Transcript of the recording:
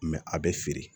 a bɛ feere